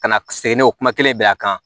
Ka na sen n'o kuma kelen bɛn'a kan